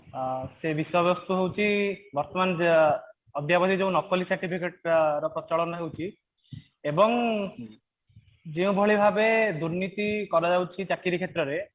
ଆଁ ସେ ବିଷୟବସ୍ତୁ ହଉଛି ବର୍ତମାନ ଯୋ ଅଦ୍ୟାବଧି ଯୋଉ ନକଲି certificate ଅ ପ୍ରଚାଳନ ହଉଛି ଏବଂ ଯେଉଁ ଭଳି ଭାବେ ଦୁର୍ନୀତି କରାଯାଉଛି ଚାକିରି କ୍ଷେତ୍ରରେ